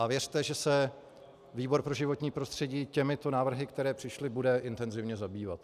A věřte, že se výbor pro životní prostředí těmito návrhy, které přišly, bude intenzivně zabývat.